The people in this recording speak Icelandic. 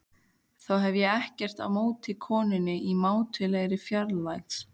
Þó hef ég ekkert á móti konunni í mátulegri fjarlægð.